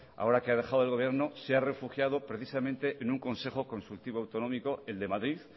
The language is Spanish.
ahora que ha dejado el gobierno se ha refugiado precisamente en un consejo consultivo autonómico el de madrid